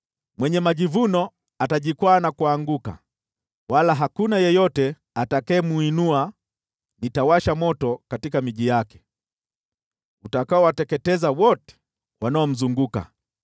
Mwenye majivuno atajikwaa na kuanguka, wala hakuna yeyote atakayemuinua; nitawasha moto katika miji yake, utakaowateketeza wote wanaomzunguka.”